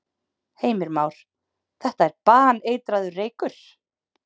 Heimir Már: Þetta er baneitraður reykur?